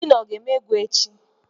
Finọ o ga-eme egwu echi?